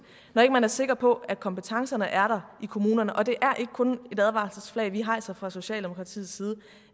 når man ikke er sikker på at kompetencerne er der i kommunerne og det er ikke kun et advarselsflag vi har altså fra socialdemokratiets side